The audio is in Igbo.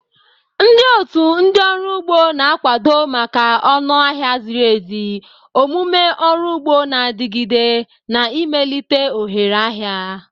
Ndị otu ndị ọrụ ugbo na-akwado maka ọnụ ahịa ziri ezi, omume ọrụ ugbo na-adigide, na imelite ohere ahịa.